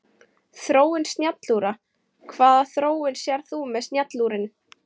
Þróun snjallúra Hvaða þróun sérðu með snjallúrin?